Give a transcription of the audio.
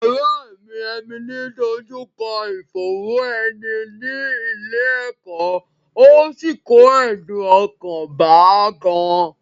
Ọ̀rẹ́ mi Emily dójú kọ ìfòòró ẹni ní ilé ẹ̀kọ́, ó sì kó ẹ̀dùn ọkàn bá a gan-an